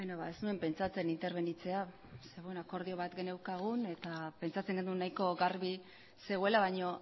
ez nuen pentsatzen interbenitzea zeren eta akordio bat geneukan eta pentsatzen genuen nahiko garbi zegoela baina